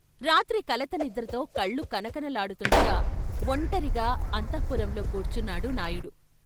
రాత్రి కలత నిద్రతో కళ్ళు కనకనలాడుతుండగా వొంటరిగా అంతః పురంలో కూర్చున్నాడు నాయుడు.